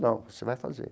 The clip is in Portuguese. Não, você vai fazer.